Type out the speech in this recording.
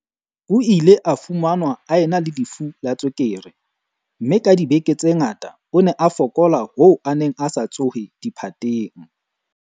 O ile a fumanwa a ena le lefu la tswekere, mme ka dibeke tse ngata o ne a fokola hoo a neng a sa tsohe diphateng.